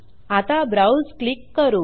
आता browse click करू